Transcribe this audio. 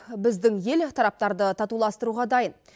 біздің ел тараптарды татуластыруға дайын